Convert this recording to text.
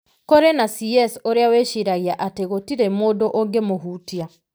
Kũrĩ na CS ũrĩa wĩciragia atĩ gũtirĩ mũndũ ũngĩmũhutia.